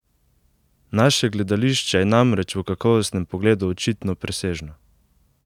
Naše gledališče je namreč v kakovostnem pogledu očitno presežno!